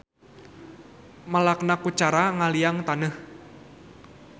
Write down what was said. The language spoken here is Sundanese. Melakna ku cara ngaliangan taneuh.